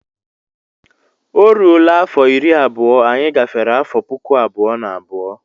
Ọ rụọla afọ iri abụọ anyị gafere afọ puku abụọ na abụọ.